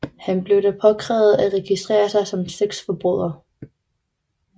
Han blev da påkrævet at registrere sig som sexforbryder